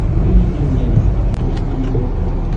выведи мне на смотрешке его тв